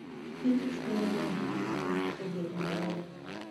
Pikich dwarore ahinya ni ot obed maler.